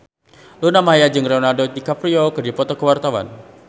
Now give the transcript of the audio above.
Luna Maya jeung Leonardo DiCaprio keur dipoto ku wartawan